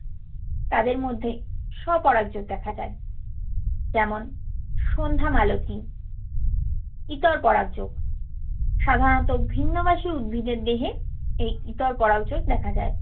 তাদের মধ্যে স্বপরাগ যোগ দেখা যায়। যেমন সন্ধ্যামালতি। ইতর পরাগ যোগ সাধারণত ভিন্নবাসি উদ্ভিদের দেহে এই ইতর পরাগ যোগ দেখা যায়।